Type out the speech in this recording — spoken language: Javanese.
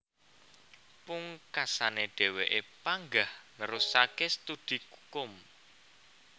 Pungkasané dhèwèké panggah nerusaké studi kukum